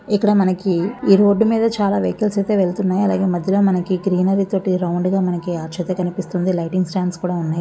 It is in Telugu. ఇక్కడ మనకి ఈ రోడ్డు మీద చాలా వెహికిల్ స్ అయితే వెళ్తున్నాయి. అలాగే మధ్యలో మనకి గ్రీనరీ తోటి రౌండ్ గా మనకి అచ్చు అయితే కనిపిస్తుంది. లైటింగ్ స్టాండ్ స్ కూడా ఉన్నాయి.